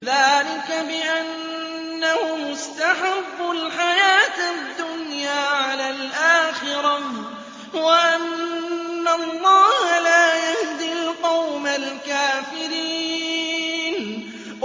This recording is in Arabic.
ذَٰلِكَ بِأَنَّهُمُ اسْتَحَبُّوا الْحَيَاةَ الدُّنْيَا عَلَى الْآخِرَةِ وَأَنَّ اللَّهَ لَا يَهْدِي الْقَوْمَ الْكَافِرِينَ